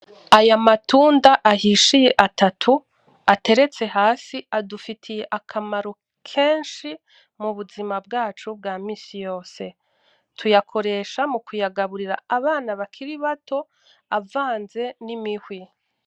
Ayamatunda ahishiye atatu ateretse hasi adufitiye akamaro kenshi mubuzima bwacu bwa misiyose tuyakoresha mukuyagaburira abana bakiri bato avanze nimihwi .